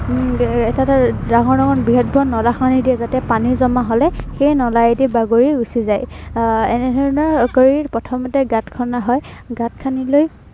উম এৰ এটা এটা ডাঙৰ ডাঙৰ, বৃহৎ বৃহৎ নলা খান্দি দিয়ে যাতে, পানী জমা হলে সেই নলায়েদি বাগৰি গুচি যায়। আহ এনে ধৰনৰ কৰি প্ৰথ মতে গাঁত খন্দা হয়। গাঁত খান্দি লৈ